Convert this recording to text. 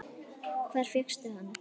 Hvar fékkstu hann?